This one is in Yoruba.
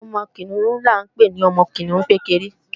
Ọmọ Kìnìún ni à ń pè ní Kìnìún kékeré